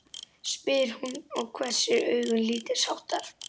spyr hún og hvessir augun lítilsháttar.